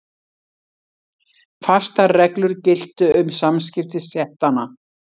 Fastar reglur giltu um samskipti stéttanna.